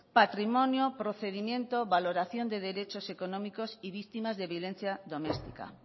patrimonio procedimiento valoración de derechos económicos y víctimas de violencia domestica